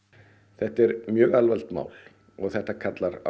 þetta er mjög alvarlegt mál og þetta kallar á